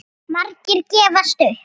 Margir gefast upp.